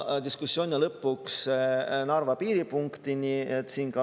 Diskussiooni lõpuks jõuti Narva piiripunktini.